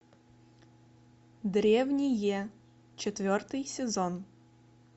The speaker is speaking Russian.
древние четвертый сезон